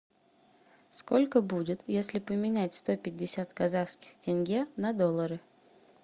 сколько будет если поменять сто пятьдесят казахских тенге на доллары